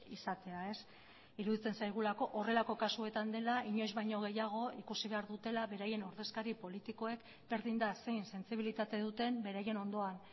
izatea iruditzen zaigulako horrelako kasuetan dela inoiz baino gehiago ikusi behar dutela beraien ordezkari politikoek berdin da zein sentsibilitate duten beraien ondoan